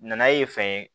Nanaye fɛn ye